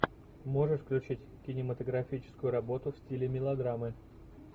можешь включить кинематографическую работу в стиле мелодрамы